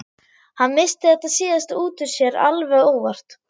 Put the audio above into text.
Hann missti þetta síðasta út úr sér alveg óvart.